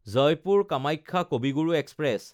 Jaipur Kamakhya Kavi Guru express